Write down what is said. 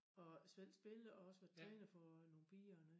Og selv spillet også trænet for nogen piger hernede